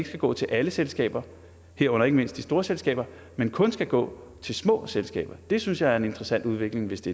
skal gå til alle selskaber herunder ikke mindst de store selskaber men kun skal gå til små selskaber det synes jeg er en interessant udvikling hvis det